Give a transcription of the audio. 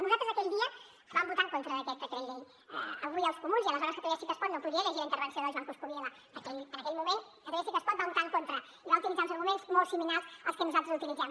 nosaltres aquell dia vam votar en contra d’aquest decret llei avui els comuns i aleshores catalunya sí que es pot no podrien llegir la intervenció del joan coscubiela perquè en aquell moment catalunya sí que es pot va votar hi en contra i va utilitzar els arguments molt similars als que nosaltres utilitzem